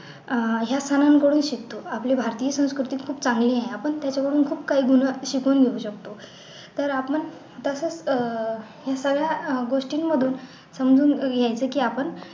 अह ह्याच सणांकडून शिकतो आपली भारतीय संस्कृती खूप चांगली आहे आपण त्याच्या कडून खूप काही जुनं शिकून घेऊ शकतो तर आपण तसंच अह हे सगळ्या गोष्टींमधून समजून घ्यायचे की आपण